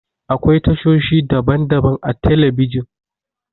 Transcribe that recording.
Akwai tashoshi daban-daban a telebijin.